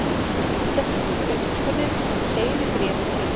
Gerður hresstist eftir uppskurðinn og hún segir í bréfi til